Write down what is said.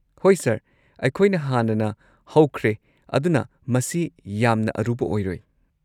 ꯍꯣꯏ ꯁꯔ, ꯑꯩꯈꯣꯏꯅ ꯍꯥꯟꯅꯅ ꯍꯧꯈ꯭ꯔꯦ ꯑꯗꯨꯅ ꯃꯁꯤ ꯌꯥꯝꯅ ꯑꯔꯨꯕ ꯑꯣꯏꯔꯣꯏ꯫